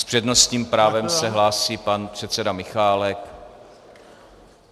S přednostním právem se hlásí pan předseda Michálek.